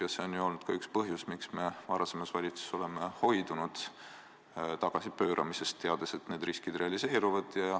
Ja see on olnud üks põhjus, miks me eelmises valitsuses hoidusime tagasipööramisest: me teadsime, et need riskid realiseeruvad.